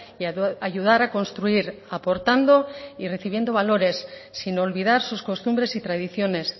y ayudar a construir aportando y recibiendo valores sin olvidar sus costumbres y tradiciones